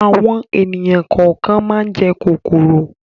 Àwọn ènìyàn kọ̀ọ̀kan máa ń jẹ kòkòrò.